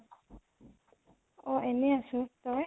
অ । এনেই আছো । তই ?